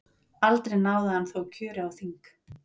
Aldrei náði hann þó kjöri á þing.